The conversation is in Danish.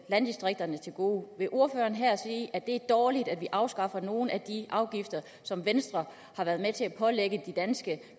landdistrikterne til gode vil ordføreren her sige at det er dårligt at vi afskaffer nogle af de afgifter som venstre har været med til at pålægge de danske